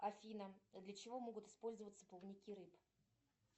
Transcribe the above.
афина для чего могут использоваться плавники рыб